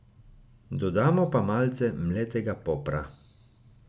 Dodamo pa malce mletega popra.